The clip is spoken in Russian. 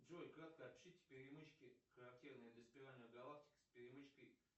джой кратко опишите перемычки характерные для спиральных галактик с перемычкой